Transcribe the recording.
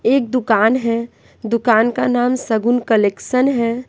एक दुकान है दुकान का नाम सगुन कलेक्शन है।